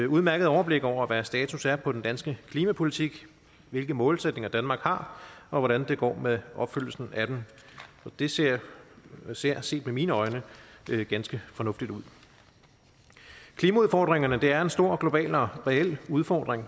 udmærket overblik over hvad status er på den danske klimapolitik hvilke målsætninger danmark har og hvordan det går med opfyldelsen af dem det ser ser set med mine øjne ganske fornuftigt ud klimaudfordringerne er en stor global og reel udfordring